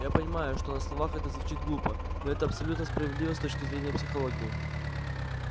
я понимаю что на словах это звучит глупо но это абсолютно справедливо с точки зрения психологии